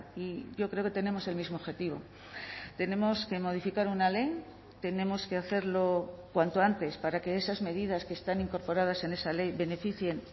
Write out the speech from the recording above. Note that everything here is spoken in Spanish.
y yo creo que tenemos el mismo objetivo tenemos que modificar una ley tenemos que hacerlo cuanto antes para que esas medidas que están incorporadas en esa ley beneficien